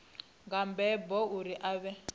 nga mbebo uri a vhe